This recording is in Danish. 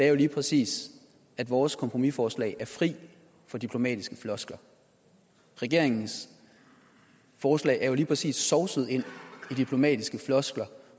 er jo lige præcis at vores kompromisforslag er fri for diplomatiske floskler regeringens forslag er jo lige præcis sovset ind i diplomatiske floskler